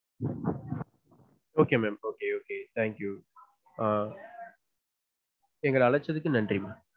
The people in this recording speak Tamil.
Okay mam okay okay thank you எங்கள அழைச்சதுக்கு ரொம்ப நன்றி mam